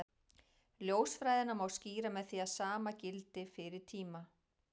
Ljósfræðina má skýra með því að sama gildi fyrir tíma.